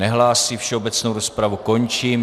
Nehlásí, všeobecnou rozpravu končím.